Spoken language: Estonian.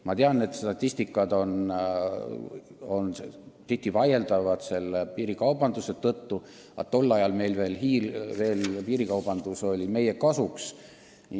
Ma tean, et statistika on tihti vaieldav ka piirikaubanduse tõttu, aga 2010. aastal käis piirikaubandus meie kasuks.